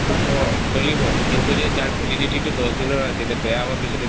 চলিব কিন্তু যদি তাৰ validity তো যদি দহ দিনৰ আছিলে বেয়া হোৱাৰ পিছত এইটো